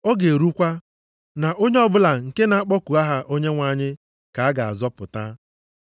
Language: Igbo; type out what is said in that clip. Ọ ga-erukwa, na onye ọbụla nke na-akpọku aha Onyenwe anyị, ka a ga-azọpụta.’ + 2:21 \+xt Jul 2:28-32\+xt*